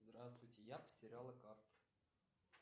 здравствуйте я потеряла карту